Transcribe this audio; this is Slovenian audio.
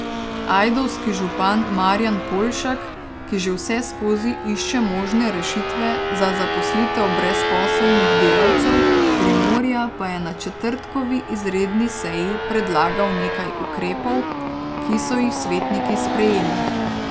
Ajdovski župan Marjan Poljšak, ki že vseskozi išče možne rešitve za zaposlitev brezposelnih delavcev Primorja, pa je na četrtkovi izredni seji predlagal nekaj ukrepov, ki so jih svetniki sprejeli.